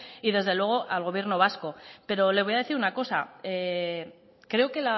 y desde luego al gobierno vasco pero le voy a decir una cosa creo que